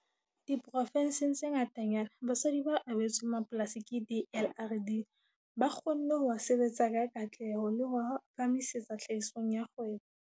Diprovenseng tse ngatanyana, basadi ba abetsweng mapolasi ke DLRD ba kgonne ho a sebetsa ka katleho le ho a phahamisetsa tlhahisong ya kgwebo.